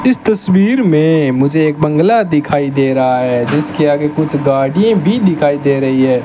इस तस्वीर में मुझे एक बंगला दिखाई दे रहा है जिसके आगे कुछ गाड़ीएं भी दिखाई दे रही है।